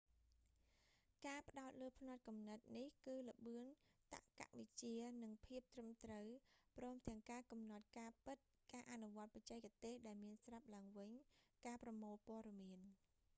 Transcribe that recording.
ការផ្តោតលើផ្នត់គំនិតនេះ គឺល្បឿន តក្កវិជ្ជា និងភាពត្រឹមត្រូវ ព្រមទាំងការកំណត់ការពិត ការអនុវត្តបច្ចេកទេសដែលមានស្រាប់ឡើងវិញ ការប្រមូលព័ត៌មាន